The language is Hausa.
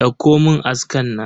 Dauko mun aska na.